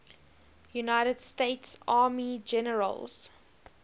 united states army generals